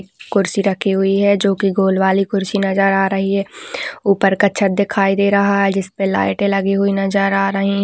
कुर्सी रखी हुई है जोकि गोल वाली कुर्सी नजर आ रही है। ऊपर का छत दिखाई दे रहा है जिसपे लाइटें लगी हुई नजर आ रही --